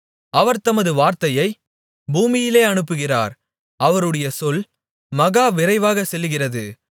அவர் தமது வார்த்தையைப் பூமியிலே அனுப்புகிறார் அவருடைய சொல் மகா விரைவாக செல்லுகிறது